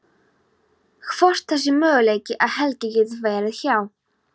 Hvort það sé möguleiki að Helgi geti verið hjá.